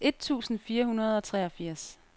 et tusind fire hundrede og treogfirs